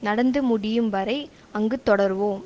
நடந்து முடியும் வரை அங்கு தொடர்வோம்